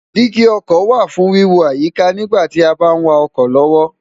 dígí ọkọ̀ wà fún wíwo àyíká nígbà tí a bá ń wa ọkọ̀ lọ́wọ́